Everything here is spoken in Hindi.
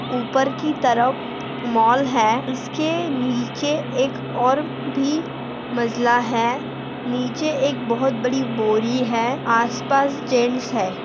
ऊपर की तरफ मॉल है उसके नीचे एक और भी मजला है नीचे एक बहुत बड़ी बोरी है आसपास जेंट्स है।